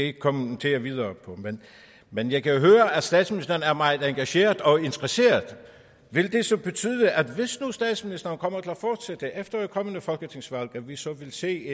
ikke kommentere videre på men jeg kan høre at statsministeren er meget engageret og interesseret vil det så betyde at hvis nu statsministeren kommer til at fortsætte efter et kommende folketingsvalg at vi så vil se